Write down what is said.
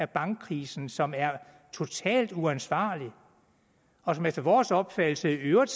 bankkrisen som er totalt uansvarlig og som efter vores opfattelse i øvrigt